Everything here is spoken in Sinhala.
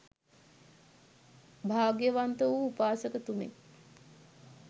භාග්‍යවන්ත වූ උපාසක තුමෙක්